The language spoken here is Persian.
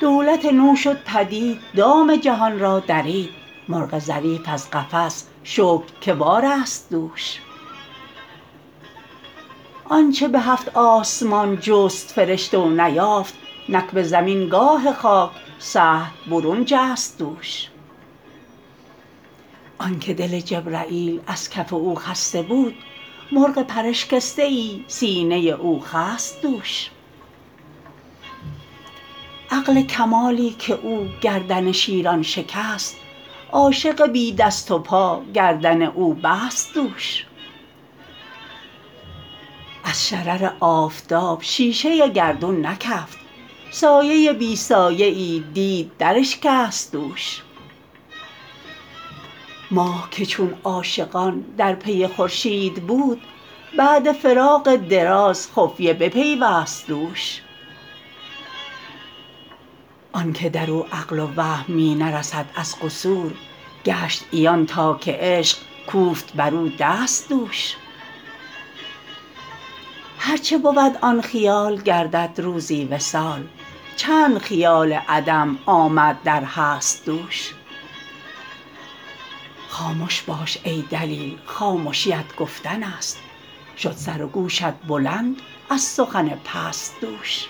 دولت نو شد پدید دام جهان را درید مرغ ظریف از قفس شکر که وارست دوش آنچ به هفت آسمان جست فرشته و نیافت نک به زمین گاه خاک سهل برون جست دوش آنک دل جبرییل از کف او خسته بود مرغ پراشکسته ای سینه او خست دوش عقل کمالی که او گردن شیران شکست عاشق بی دست و پا گردن او بست دوش از شرر آفتاب شیشه گردون نکفت سایه بی سایه ای دید دراشکست دوش ماه که چون عاشقان در پی خورشید بود بعد فراق دراز خفیه بپیوست دوش آنک در او عقل و وهم می نرسد از قصور گشت عیان تا که عشق کوفت بر او دست دوش هر چه بود آن خیال گردد روزی وصال چند خیال عدم آمد در هست دوش خامش باش ای دلیل خامشیت گفتنست شد سر و گوشت بلند از سخن پست دوش